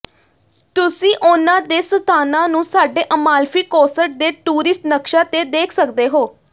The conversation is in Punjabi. ਤੁਸੀਂ ਉਨ੍ਹਾਂ ਦੇ ਸਥਾਨਾਂ ਨੂੰ ਸਾਡੇ ਅਮਾਲਫੀ ਕੋਸਟ ਦੇ ਟੂਰਿਸਟ ਨਕਸ਼ਾ ਤੇ ਦੇਖ ਸਕਦੇ ਹੋ